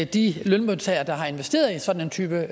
de lønmodtagere der har investeret i sådan en type